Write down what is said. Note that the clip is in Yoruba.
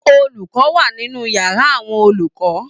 Olùkọ wà nínú yàrá àwọn olùkọ.